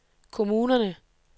kommunerne